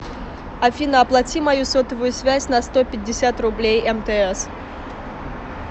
афина оплати мою сотовую связь на сто пятьдесят рублей мтс